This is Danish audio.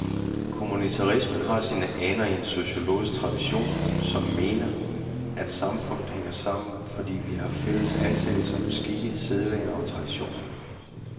Kommunitarismen har sine aner i en sociologisk tradition, som mener, at samfundet hænger sammen, fordi vi har fælles antagelser om skikke, sædvaner og traditioner.